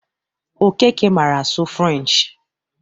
Okeke mara asụ french.